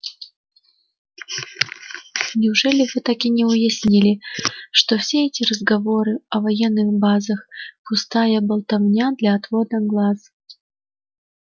неужели вы так и не уяснили что все эти разговоры о военных базах пустая болтовня для отвода глаз